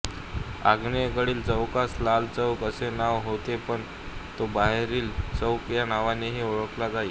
आग्नेयेकडील चौकास लाल चौक असे नाव होते पण तो बाहेरील चौक या नावानेही ओळखला जाई